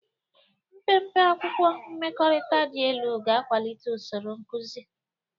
Mpempe akwụkwọ mmekọrịta dị elu ga-akwalite usoro nkuzi.